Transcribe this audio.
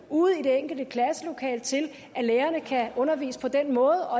ude i det enkelte klasselokale til at lærerne kan undervise på den måde